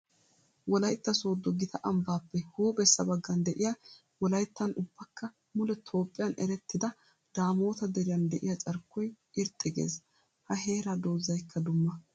Wolaytta soodo gita ambbappe huuphphessa bagan de'iya wolayttan ubbakka mule Toophphiyan erettidda daamotta deriyan de'iya carkkoy irxxi gees. Ha heera doozaykka dumma.